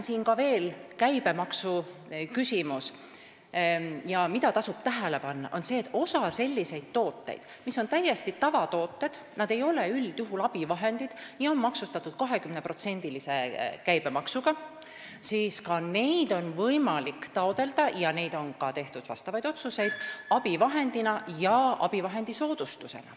Veel tasub tähele panna, et osa selliseid tooteid, mis on täiesti tavatooted, st ei ole üldjuhul abivahendid ja on maksustatud 20%-lise käibemaksuga, on võimalik taotleda abivahendina ja abivahendi soodustusega.